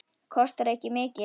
Kostar ekki mikið.